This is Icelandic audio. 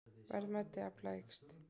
Verðmæti afla eykst